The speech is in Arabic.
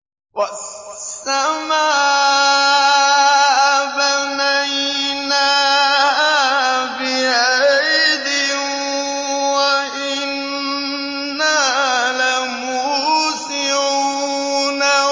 وَالسَّمَاءَ بَنَيْنَاهَا بِأَيْدٍ وَإِنَّا لَمُوسِعُونَ